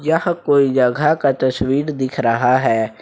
यह कोई जगह का तस्वीर दिख रहा है।